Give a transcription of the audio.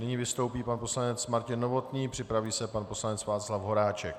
Nyní vystoupí pan poslanec Martin Novotný, připraví se pan poslanec Václav Horáček.